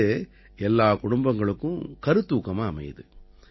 இது எல்லா குடும்பங்களுக்கும் கருத்தூக்கமா அமையுது